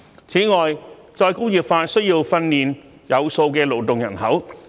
此外，再工業化需要訓練有素的勞動人口。